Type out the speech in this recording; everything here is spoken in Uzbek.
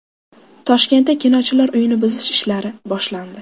Toshkentda Kinochilar uyini buzish ishlari boshlandi.